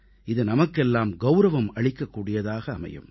இது நமக்கெல்லாம் கௌரவம் அளிக்கக் கூடியதாக அமையும்